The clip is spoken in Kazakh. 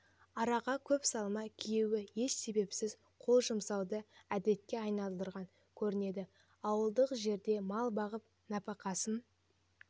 араға көп салмай күйеуі еш себепсіз қол жұмсауды әдетке айналдырған көрінеді ауылдық жерде мал бағып нәпақасын